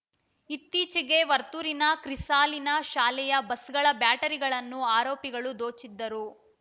ಇತ್ತೀಚಿಗೆ ವರ್ತೂರಿನ ಕ್ರಿಸಾಲಿನ್‌ ಶಾಲೆಯ ಬಸ್‌ಗಳ ಬ್ಯಾಟರಿಗಳನ್ನು ಆರೋಪಿಗಳು ದೋಚಿದ್ದರು